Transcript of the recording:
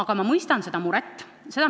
Aga ma mõistan seda muret.